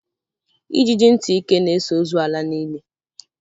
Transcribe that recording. Ijiji ntị ike na-eso ozu ala n'ili